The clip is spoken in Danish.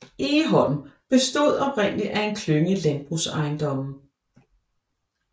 Egholm bestod oprindeligt af en klynge landbrugsejendomme